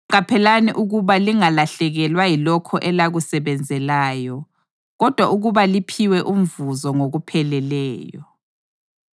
Qaphelani ukuba lingalahlekelwa yilokho elakusebenzelayo, kodwa ukuba liphiwe umvuzo ngokupheleleyo.